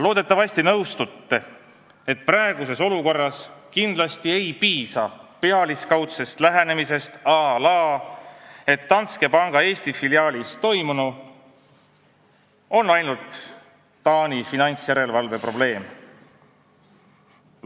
Loodetavasti nõustute, et praeguses olukorras kindlasti ei piisa pealiskaudsest lähenemisest, à la Danske panga Eesti filiaalis toimunu on ainult Taani finantsjärelevalve probleem.